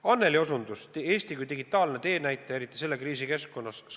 Anneli osutas Eestile kui digitaalsele teenäitajale, eriti selles kriisikeskkonnas.